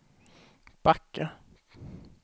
backa